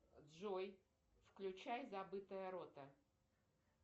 джой включай забытая рота